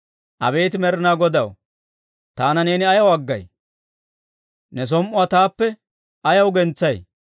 Abeet Med'inaa Godaw, taana neeni ayaw aggay? Ne som"uwaa taappe ayaw gentsay?